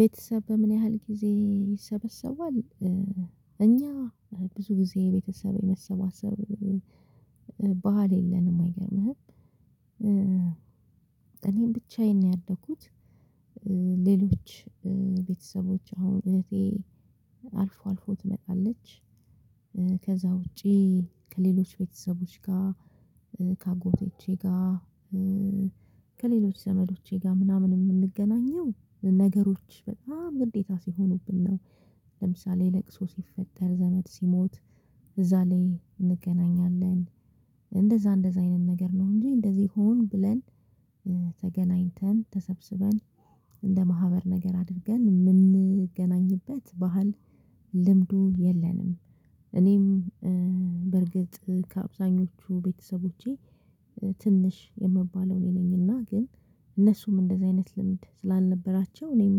ቤተሰብ በምን ያህል ጊዜ ይሰበሰባል? እኛ ብዙ ጊዜ የቤተሰብ የመሰባሰብ ባህል የለንም፥ አይገርምህም? እኔም ብቻዬን ነው ያደኩት። ሌሎች ቤተሰቦች አሁን እህቴ አልፎ አልፎ ትመጣለች ከዛ ውጪ ከሌሎች ቤተሰቦች ጋር ከአጎቶቼ ጋር ከሌሎች ዘመዶቼ ጋር ምናምን የምንገናኘው ነገሮች በጣም ግዴታ ሲሆኑብን ነው። ለምሳሌ ለቅሶ ሲፈጠር፣ ዘመድ ሲሞት፣ እዛ ላይ እንገናኛለን። እንደዛ እንደዛ አይነት ነገር ነው እንጂ እንደዚህ ሆን ብለን ተገናኝተን ተሰብስበን እንደ ማህበር ነገር አድርገን የምንገናኝበት ባህል፥ ልምዱ የለንም። እኔም በርግጥ ከአብዛኞቹ ቤተሰቦቼ ትንሽ የምባለው እኔ ነኝና ግን እነሱም እንደዚህ አይነት ልምድ ስላልነበራቸው እኔም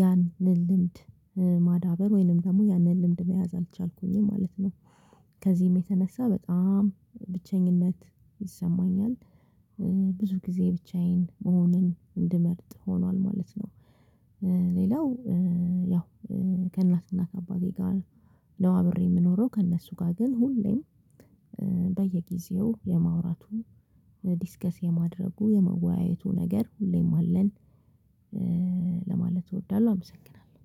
ያንን ልምድ ማዳበር ወይንም ደግሞ ያንን ልምድ መያዝ አልቻልኩኝም ማለት ነው። ከዚህም የተነሳ በጣም ብቸኝነት ይሰማኛል። ብዙ ጊዜ ብቻዬን መሆንን እንድመርጥ ሆኗል ማለት ነው። ሌላው ያው ከእናትና ከአባቴ ጋር ነው አብሬ ምኖረው። ከእነሱ ጋር ግን ሁሌም በየጊዜው የማውራቱ፣ ዲስከስ የማድረጉ፣ የመወያየቱ ነገር ሁሌም አለን ለማለት እወዳለሁ፥ አመሰግናለሁ!